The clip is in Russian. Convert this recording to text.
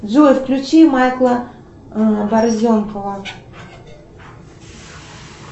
джой включи майкла борзенкова